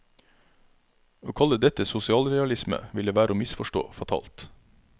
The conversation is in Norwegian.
Å kalle dette sosialrealisme ville være å misforstå fatalt.